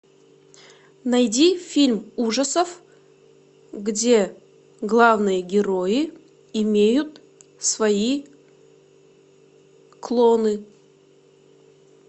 найди фильм ужасов где главные герои имеют свои клоны